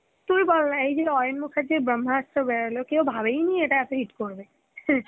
তুই বল না এই যে আয়ান মুখের্জীর Hindi বেরোলো, কেউ ভাবেই নি এটা এত hit করবে